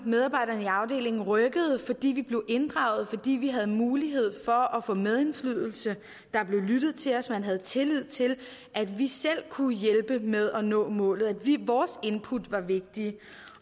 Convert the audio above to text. medarbejderne i afdelingen rykkede fordi vi blev inddraget fordi vi havde mulighed for at få medindflydelse der blev lyttet til os man havde tillid til at vi selv kunne hjælpe med at nå målet vores input var vigtige